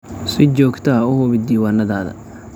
Si joogto ah u hubi diiwaannadaada.